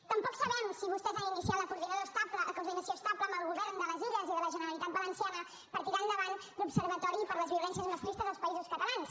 tampoc sabem si vostès han iniciat la coordinació estable amb el govern de les illes i de la generalitat valenciana per tirar endavant l’observatori per les violències masclistes als països catalans